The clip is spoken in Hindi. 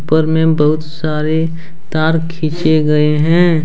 ऊपर में बहुत सारे तार खींचे गए हैं।